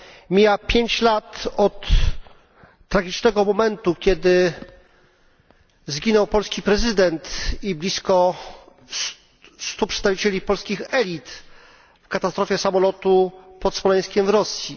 Mija 5 lat od tragicznego momentu, kiedy zginął polski prezydent i blisko 100 przedstawicieli polskich elit w katastrofie samolotu pod Smoleńskiem w Rosji.